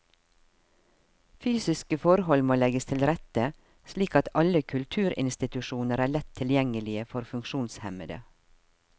Fysiske forhold må legges til rette slik at alle kulturinstitusjoner er lett tilgjengelige for funksjonshemmede.